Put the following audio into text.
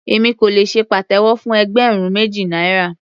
Èmi kò lè ṣe pàtẹ́wọ́ fún ẹgbẹ̀rún méjì náírà.